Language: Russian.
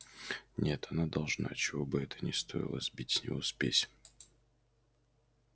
нет она должна чего бы это ни стоило сбить с него спесь